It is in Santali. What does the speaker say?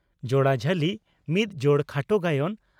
"ᱡᱚᱲᱟ ᱡᱷᱟᱹᱞᱤ" (ᱢᱤᱫ ᱡᱚᱲ ᱠᱷᱟᱴᱚ ᱜᱟᱭᱟᱱ)